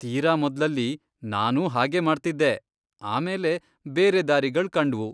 ತೀರಾ ಮೊದ್ಲಲ್ಲಿ ನಾನೂ ಹಾಗೇ ಮಾಡ್ತಿದ್ದೆ, ಆಮೇಲೆ ಬೇರೆ ದಾರಿಗಳ್ ಕಂಡ್ವು.